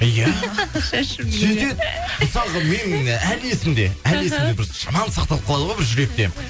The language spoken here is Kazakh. иә сөйтеді мысалға мен әлі есімде әлі есімде бір жаман сақталып қалады ғой бір жүректе